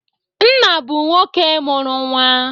Nna bụ nwoke mụrụ nnwa